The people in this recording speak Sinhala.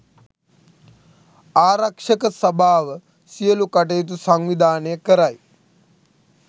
ආරක්ෂක සභාව සියලු කටයුතු සංවිධානය කරයි